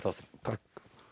takk